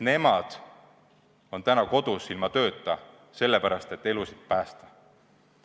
Nemad on täna kodus ilma tööta sellepärast, et elusid päästa.